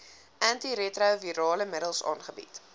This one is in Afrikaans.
antiretrovirale middels aangebied